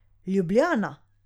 Ljubljana.